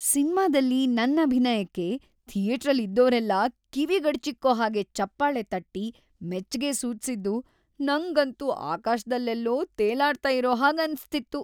ಸಿನ್ಮಾದಲ್ಲಿ ನನ್ ಅಭಿನಯಕ್ಕೆ ಥಿಯೇಟ್ರಲ್ಲಿದ್ದೋರೆಲ್ಲ ಕಿವಿಗಡಚಿಕ್ಕೋ ಹಾಗೆ ಚಪ್ಪಾಳೆ ತಟ್ಟಿ ಮೆಚ್ಗೆ ಸೂಚ್ಸಿದ್ದು ನಂಗಂತೂ ಆಕಾಶ್ದಲ್ಲೆಲ್ಲೊ ತೇಲಾಡ್ತಾ ಇರೋ ಹಾಗ್‌ ಅನ್ಸ್ತಿತ್ತು.